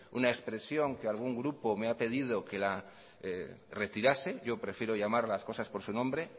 una expresión que algún grupo me ha pedido que la retirase yo prefiero llamar a las cosas por su nombre